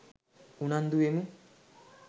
උනන්දු වෙමු.